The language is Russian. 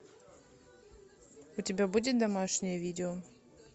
у тебя будет домашнее видео